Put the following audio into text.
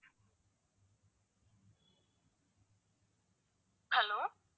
hello